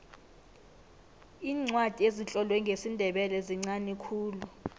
iincwadi ezitlolwe ngesindebele zinqani khulu